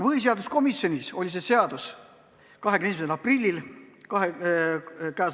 Põhiseaduskomisjonis oli see arutusel 21. aprillil.